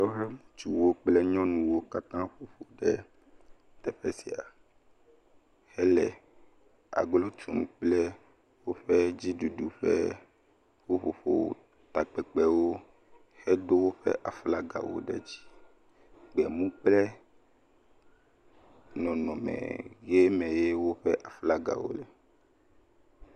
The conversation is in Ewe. Wolé ŋutsuwo kple nyɔnuwo katã ƒoƒu ɖe teƒe sia, hele agblo tum kple woƒe dziɖuɖu ƒe ƒuƒoƒo hedo woƒe aflagawo ɖe dzi kple nu kpe nɔnɔme ke me xe woƒe aflagawo le.